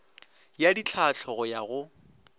ya ditlhahlo go ya go